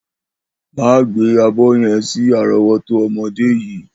Má gbé àgbo ye̩n sí àró̩wó̩tó o̩mo̩dé yìí!